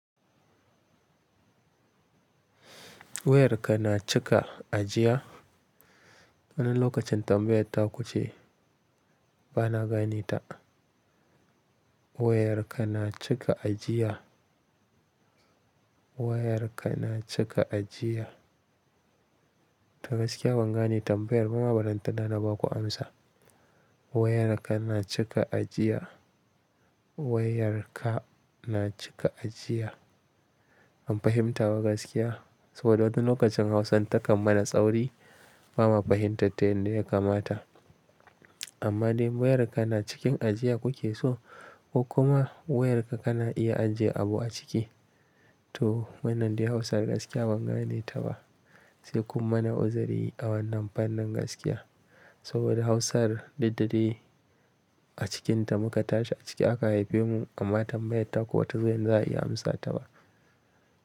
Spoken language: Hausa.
Wayarka na cika a jiya. Wani lokacin tambayar ta kuce, ba na gane ta. Wayarka na cika a jiya. Wayarka na cika a jiya. Ta gaskiya ban gane tambayar bama, ballantana na ba ku amsa. Wayarka na cika a jiya. Wayarka na cika a jiya. Ban fahimta wa gaskiya, saboda wani lokacin Hausan ta kan mana tsauri, ba ma fahimtar ta yanda ya kamata. Amma dai wayarka na cikin ajiya kuke so ko kuma wayarka kana iya ajiye abu a ciki? To wannan dai Hausan gaskiya ban gane ta ba. Sai kun mana uzuri a wannan fannin gaskiya. Saboda Hausar diddere a cikinta muka tashi a ciki aka haife mu, amma tambayar ta ku bata zo yanda za a iya amsa ta ba.